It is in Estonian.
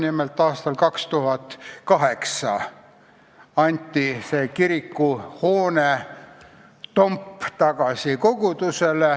Nimelt, aastal 2008 anti see kirikuhoone tomp tagasi kogudusele.